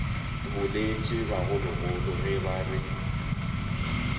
boletše bagologolo ge ba re